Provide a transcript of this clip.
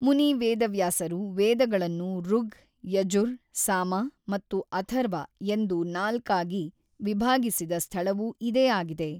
ಮುನಿ ವೇದವ್ಯಾಸರು ವೇದಗಳನ್ನು ಋಗ್, ಯಜುರ್, ಸಾಮ ಮತ್ತು ಅಥರ್ವ ಎಂದು ನಾಲ್ಕಾಗಿ ವಿಭಾಗಿಸಿದ ಸ್ಥಳವೂ ಇದೇ ಆಗಿದೆ.